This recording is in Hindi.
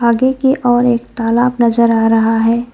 आगे की ओर एक तालाब नजर आ रहा है।